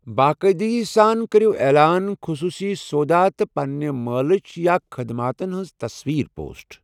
باقٲعِدگی سان کٔرِو اعلان، خٔصوٗصی سودا، تہٕ پنٛنہِ مالٕچ یا خٕدماتٕن ہنز تصویٖرِ پوسٹ۔